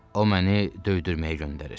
O məni döydürməyə göndərir.